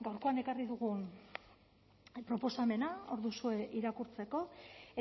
gaurkoan ekarri dugun proposamena hor duzue irakurtzeko